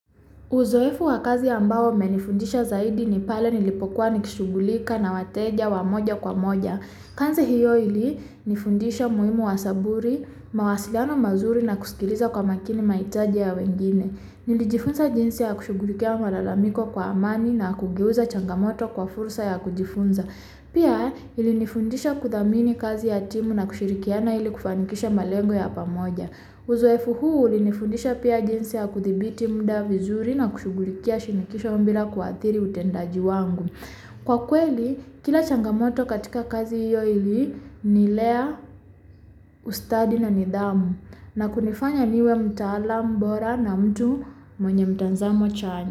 Uzoefu wakazi ambao ume nifundisha zaidi nipale nilipokuwa nishughulika na wateja wa moja kwa moja. Kanzi hiyo ili nifundisha muhimua saburi, mawasiliano mazuri na kuskiliza kwa makini maitaji ya wengine. Nili jifunza jinsi ya kushughulikia malalamiko kwa amani na kugeuza changamoto kwa fursa ya kujifunza. Pia ilinifundisha kuthamini kazi ya timu na kushirikiana ili kufanikisha malengo ya pamoja. Uzoefu huu uli nifundisha pia jinsi ya kuthibiti mda vizuri na kushughulikia shinikisho bila ku athiri utendaji wangu. Kwa kweli kila changamoto katika kazi hiyo ili nilea ustadi na nidhamu na kunifanya niwe mtaalam bora na mtu mwenye mtanzamo chanya.